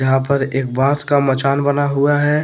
यहां पर एक बास का मचान बना हुआ है।